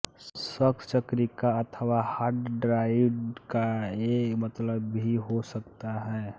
सख्त चक्रिका अथवा हार्ड ड्राइव का ये मतलब भी हो सकता है